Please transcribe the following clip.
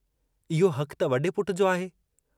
इहो हकु त वॾे पुट जो आहे।